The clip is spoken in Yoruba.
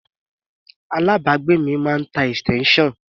Alábàágbé mi máa ń tá extension.